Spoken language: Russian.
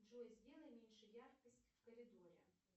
джой сделай меньше яркость в коридоре